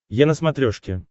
е на смотрешке